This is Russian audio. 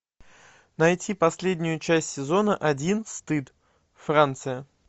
найти последнюю часть сезона один стыд франция